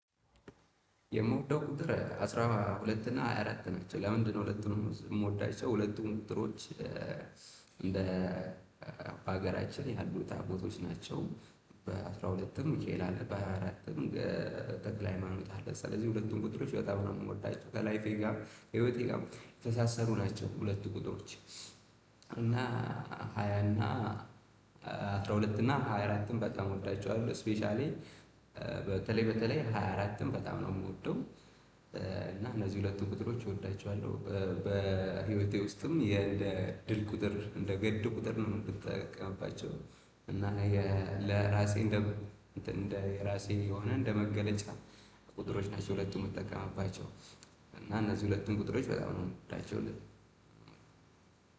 የምወደው ቁጥር አስራ ሁለት እና ሃያ አራት ናቸው ለምንድነው ሁለቱንም የምወዳቸው ሁለቱም ቁጥሮች? እንደ በሀገራችን ያሉ ታቦቶች ናቸው። በአስራ ሁለትም ሚኬአል አለ በሃያ አራትም ተክለሃይማኖት አለ። ስለዚህ ሁለቱም ቁጥር በጣም ምወዳቸው ከላይፌ ጋር ህይወቴ ጋር የተሳሳሩ ናቸው። ሁለት ቁጥሮች እና ሃያ እና ሁለት እና ሃያ አራትም በጣም እወዳቸዋለሁ ስፔሻሊ በተለይ በተለይ ሃያ አራትም በጣም ነው የምወደው። እና እነዚህ ሁለቱን ቁጥሮች እወዳቸዋለሁ በህይወቴ ውስጥም የእንደ እድል ቁጥር እንደ ገድ ቁጥር ነው የምትጠቀምባቸው። እና ለራሴ እንደ እንደ ራሴ የሆነ እንደ መገለጫ ቁጥሮች ናቸው። ሁለቱም የምትጠቀማባቸው እና እነዚህ ሁለቱም ቁጥሮች በጣም ነው ምወዳቸው።